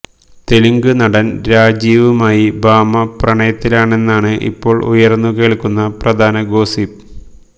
തെലുങ്ക് നടൻ രാജീവുമായി ഭാമ പ്രണയത്തിലാണെന്നാണ് ഇപ്പോൾ ഉയർന്നു കേൾക്കുന്ന പ്രധാന ഗോസിപ്പ്